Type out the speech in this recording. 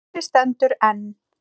Húsið stendur enn.